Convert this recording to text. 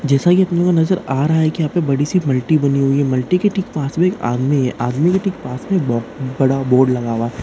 जैसा कि अपने को नजर आ रहा है कि यहां पर बड़ी सी मल्टी बनी हुई है मल्टी के ठीक पास में एक आदमी है आदमी के ठीक पास मै एक बड़ा बोर्ड लगा हुआ--